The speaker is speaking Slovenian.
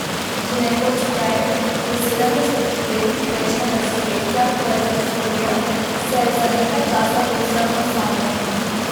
Že nekoč prej, v sedemdesetih letih prejšnjega stoletja, ko je zaslovel, se je za nekaj časa povsem osamil.